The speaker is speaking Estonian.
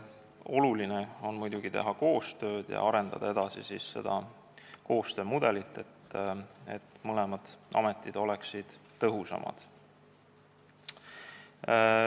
Oluline on muidugi teha koostööd ja arendada edasi seda koostöömudelit, et mõlemad ametid oleksid tõhusamad.